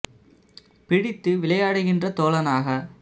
பிடித்துவிளை யாடுகின்ற தோழ னாக